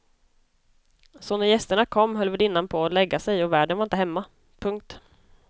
Så när gästerna kom höll värdinnan på att lägga sig och värden var inte hemma. punkt